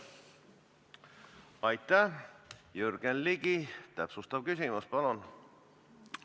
Jürgen Ligi täpsustav küsimus, palun!